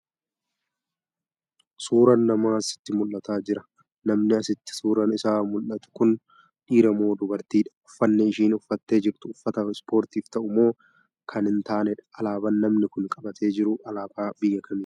Suuraan Namaa sitti mul'ataa Jiraa?.namni asitti suuraan Isaa mul'atu Kuni dhiira moo dubartiidha?.uffanni isheen uffattee jirtu uffata ispoortiif ta'u moo Kan hin taanedha?.alaabaan namni Kuni qabatee jiru alaabaa biyya kamiiti?